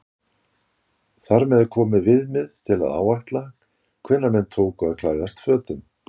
Þar með er komið viðmið til að áætla hvenær menn tóku að klæðast fötum.